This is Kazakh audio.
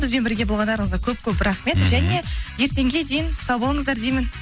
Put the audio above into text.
бізбен бірге болғандарыңызға көп көп рахмет және ертеңге дейін сау болыңыздар деймін